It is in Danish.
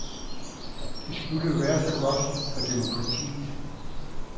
Det skulle jo være så godt for demokratiet.